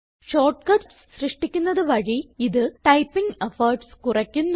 shortcuts സൃഷ്ടിക്കുന്നത് വഴി ഇത് ടൈപ്പിംഗ് എഫോർട്ട്സ് കുറയ്ക്കുന്നു